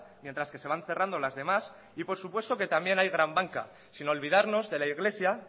mientras que se van cerrando las demás y por supuesto que también hay gran banca sin olvidarnos de la iglesia